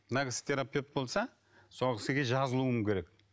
мына кісі терапевт болса сол кісіге жазылуың керек